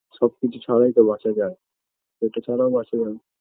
সবকিছু ছাড়াই তো বাঁচা যায় একে ছাড়াও বাঁচা যাবে